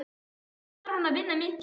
Samt þarf hann að vinna mikið.